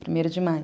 Primeiro de maio.